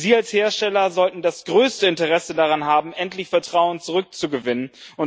Sie als Hersteller sollten das größte Interesse daran haben, endlich Vertrauen zurückzugewinnen.